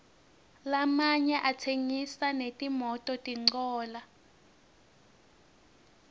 lamanye atsengisa netimototincola